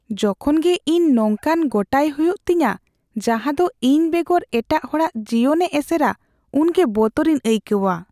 ᱡᱚᱠᱷᱚᱱ ᱜᱮ ᱤᱧ ᱱᱚᱝᱠᱟᱱ ᱜᱚᱴᱟᱭ ᱦᱩᱭᱩᱜ ᱛᱤᱧᱟ ᱡᱟᱦᱟᱸ ᱫᱚ ᱤᱧ ᱵᱮᱜᱚᱨ ᱮᱴᱟᱜ ᱦᱚᱲᱟᱜ ᱡᱤᱭᱚᱱᱮ ᱮᱥᱮᱨᱟ ᱩᱱᱜᱮ ᱵᱚᱛᱚᱨᱤᱧ ᱟᱹᱭᱠᱟᱹᱣᱟ ᱾